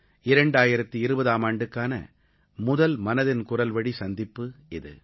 2020ஆம் ஆண்டுக்கான முதல் மனதின் குரல்வழி சந்திப்பு இது